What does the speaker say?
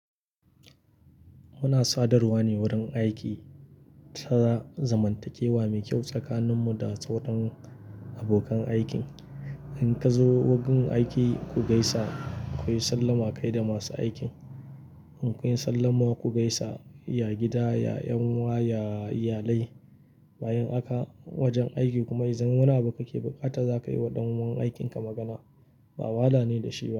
Muna sadarwa ne wurin aiki, tana zamantakewa mai kyau tsakaninmu da sauran abokan aikin. In ka zo wurin aiki ku gaisa, ku yi sallama kai da masu aikin. In kun yi sallama ku gaisa, ya gida, ya 'yan uwa, ya iyalai. Bayan haka wajen aiki kuma idan muna baƙi baƙata za ka yi wa ɗan uwan aikinka magana. Ba wahala ne da shi.